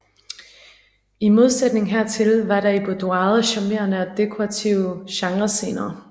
I modsætning hertil var der i boudoiret charmerende og dekorative genrescener